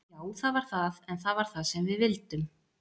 Já það var það, en það var það sem við vildum.